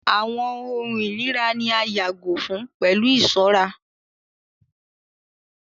Àwọn ohùn irira ni a yàgò fun pẹlu iṣọra